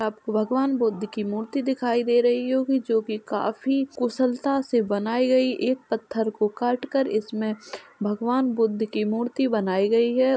आपको भगवान बुद्ध की मूर्ति दिखाई दे रही होगी जो की काफी कुशलता से बनाई गयी एक पत्थर को काट कर इसमें भगवान बुद्ध की मूर्ति बनाई गई है।